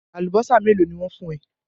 Àlùbọ́sà mélòó ni wọ́n fún ẹ?